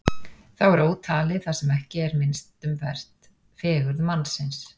Þá er ótalið það sem ekki er minnst um vert: fegurð mannsins.